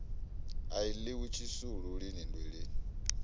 a ḽiwa tshisulu lini nndweleni